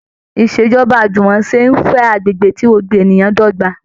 Ìṣèjọba àjùmọ̀ṣe ń fẹ́ agbègbè tí gbogbo ènìyàn dọ́gba